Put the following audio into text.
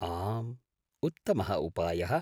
आम्, उत्तमः उपायः।